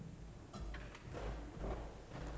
der